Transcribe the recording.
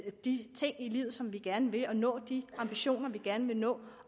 de ting i livet som vi gerne vil og nå de ambitioner vi gerne vil nå